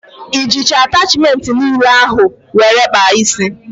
I jicha atachmentị niile ahụ were kpaa ísí?